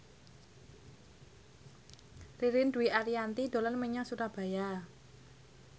Ririn Dwi Ariyanti dolan menyang Surabaya